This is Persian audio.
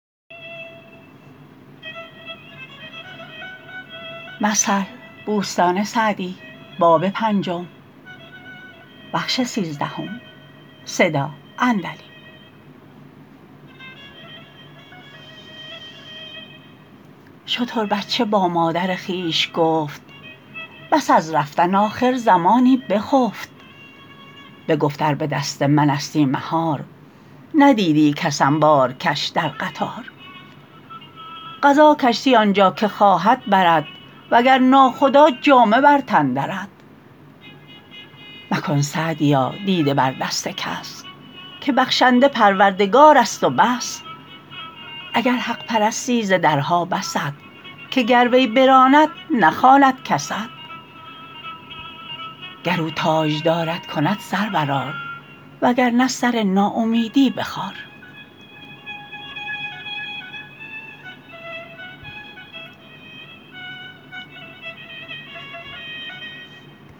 شتر بچه با مادر خویش گفت پس از رفتن آخر زمانی بخفت بگفت ار به دست من استی مهار ندیدی کسم بارکش در قطار قضا کشتی آنجا که خواهد برد وگر ناخدا جامه بر تن درد مکن سعدیا دیده بر دست کس که بخشنده پروردگار است و بس اگر حق پرستی ز درها بست که گر وی براند نخواند کست گر او تاجدارت کند سر بر آر وگر نه سر ناامیدی بخار